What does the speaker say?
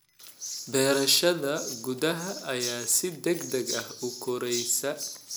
Beerashada gudaha ayaa si degdeg ah u koraysa.